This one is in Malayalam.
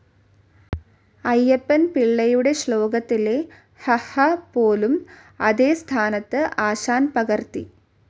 അയ്യപ്പൻ പിള്ളയുടെശ്ലോകത്തിലെ ഹ, ഹ പോലും അതേ സ്ഥാനത്തു ആശാൻ പകർത്തി.